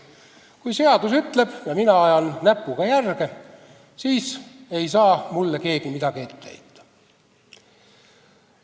Kui seadus ütleb ja mina ajan näpuga järge, siis ei saa mulle keegi midagi ette heita.